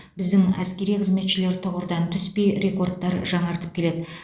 біздің әскери қызметшілер тұғырдан түспей рекордтар жаңартып келеді